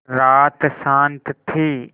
रात शान्त थी